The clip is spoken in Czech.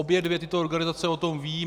Obě dvě tyto organizace o tom vědí.